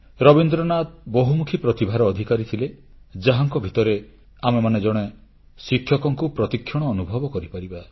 ରବୀନ୍ଦ୍ରନାଥ ବହୁମୁଖୀ ପ୍ରତିଭାର ଅଧିକାରୀ ଥିଲେ ଯାହାଙ୍କ ଭିତରେ ଆମେମାନେ ଜଣେ ଶିକ୍ଷକଙ୍କୁ ପ୍ରତି କ୍ଷଣ ଅନୁଭବ କରିପାରିବା